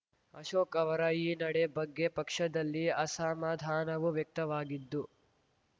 ಅಶೋಕ್‌ ಅವರ ಈ ನಡೆ ಬಗ್ಗೆ ಪಕ್ಷದಲ್ಲಿ ಅಸಮಾಧಾನವೂ ವ್ಯಕ್ತವಾಗಿದ್ದು